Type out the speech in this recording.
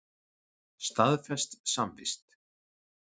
Staðfest samvist.